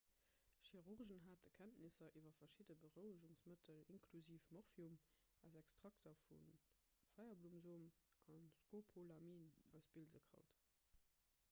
chirurgen hate kenntnisser iwwer verschidde berouegungsmëttel inklusiv morphium aus extrakter vu feierblummesom a scopolamin aus bilsekraut